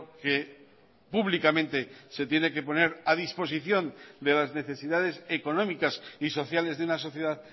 que públicamente se tiene que poner a disposición de las necesidades económicas y sociales de una sociedad